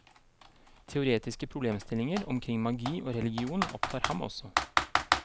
Teoretiske problemstillinger omkring magi og religion opptar ham også.